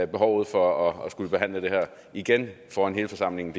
behovet for at skulle behandle det her igen foran hele forsamlingen